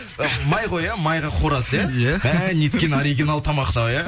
май ғой иә майға қуырасыз иә иә мә неткен оригинал тамақ мынау иә